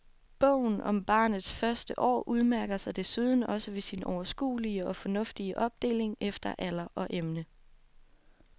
Bogen om barnets første år udmærker sig desuden også ved sin overskuelige og fornuftige opdeling efter alder og emne.